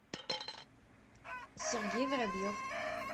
сергей воробьев